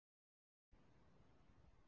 Þorbjörn: Hvað segir þú?